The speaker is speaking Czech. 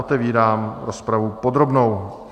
Otevírám rozpravu podrobnou.